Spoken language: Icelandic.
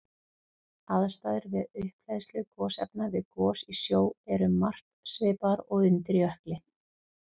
Aðstæður við upphleðslu gosefna við gos í sjó eru um margt svipaðar og undir jökli.